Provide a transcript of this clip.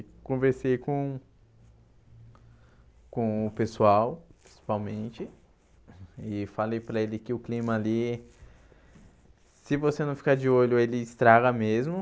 E conversei com o com o pessoal, principalmente, e falei para ele que o clima ali, se você não ficar de olho, ele estraga mesmo.